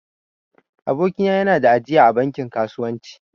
Aboki na ya na da ajiya a bankin kasuwanci